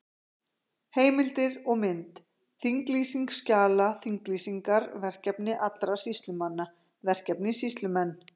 Heimildir og mynd: Þinglýsing skjala Þinglýsingar Verkefni allra sýslumanna Verkefni Sýslumenn.